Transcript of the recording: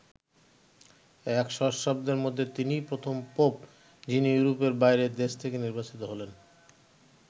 এক সহস্রাব্দের মধ্যে তিনিই প্রথম পোপ যিনি ইউরোপের বাইরের দেশ থেকে নির্বাচিত হলেন।